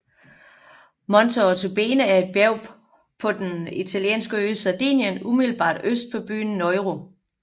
Monte Ortobene er et bjerg på den italienske ø Sardinien umiddelbart øst for byen Nuoro